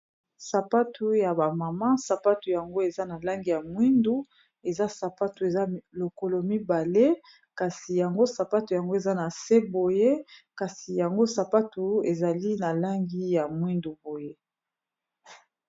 Sapatu ya bamama sapatu yango eza na langi ya mwindu, eza sapatu eza lokolo mibale kasi yango sapatu yango eza na se boye kasi yango sapatu ezali na langi ya mwindu boye.